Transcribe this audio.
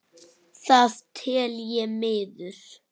Það tel ég miður.